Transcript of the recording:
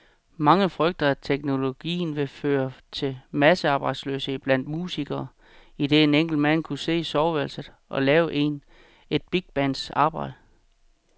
Mange frygtede, at teknologien ville føre til massearbejdsløshed blandt musikere, idet en enkelt mand kunne sidde i soveværelset og lave et bigbands arbejde.